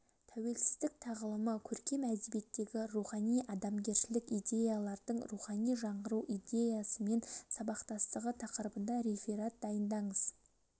тәуелсіздік тағылымы көркем әдебиеттегі рухани адамгершілік идеялардың рухани жаңғыру идеясымен сабақтастығы тақырыбында реферат дайындаңыз